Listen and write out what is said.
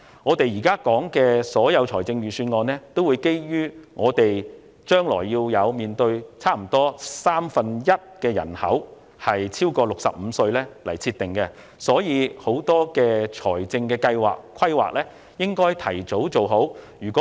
我們現時討論的預算案，均基於香港將要面對約三分一人口超過65歲這個前設來制訂，因此，許多的財政計劃和規劃須盡早完成。